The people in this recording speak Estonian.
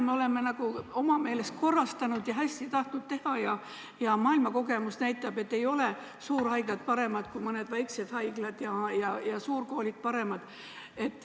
Me oleme oma meelest süsteemi korrastanud ja hästi tahtnud teha, aga maailma kogemus näitab, et ei ole suurhaiglad paremad kui mõned väikesed haiglad ja ei ole suurkoolid paremad.